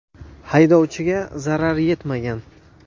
Haydovchiga zarar yetmagan.